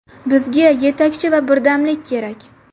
Bizga yetakchi va birdamlik kerak.